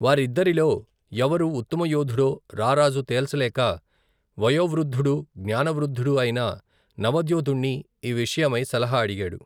వారిద్దరిలో ఎవరు ఉత్తమయోధుడో రారాజు తేల్చలేక, వయోవృద్ధుడూ, జ్ఞాన వృద్ధుడూ, అయిన నవద్యోతుణ్ణి ఈ విషయమై సలహ అడిగాడు.